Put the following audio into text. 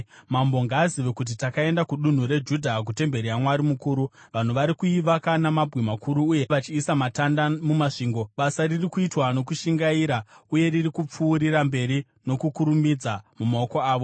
Mambo ngaazive kuti takaenda kudunhu reJudha, kutemberi yaMwari mukuru. Vanhu vari kuivaka namabwe makuru uye vachiisa matanda mumasvingo. Basa riri kuitwa nokushingaira uye riri kupfuurira mberi nokukurumidza mumaoko avo.